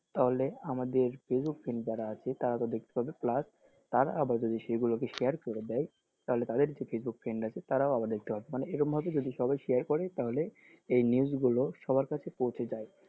তাহলে আমাদের facebook friend যারা আছে তারা তো দেখতে পাবে plus তারা আবার যদি সেগুলো কে share করে দেয় তাহলে তাদের যে facebook friend আছে তারাও আবার দেখতে পাবে মানে এরকমভাবে যদি সবাই share করে তাহলে এই news গুলো সবার কাছে পৌঁছে যায়,